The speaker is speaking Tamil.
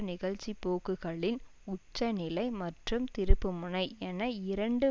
நிகழ்ச்சி போக்குகளின் உச்சநிலை மற்றும் திருப்புமுனை என இரண்டு